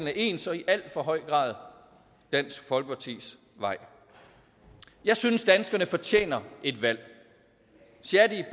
er ens og i alt for høj grad dansk folkepartis vej jeg synes at danskerne fortjener et valg shadi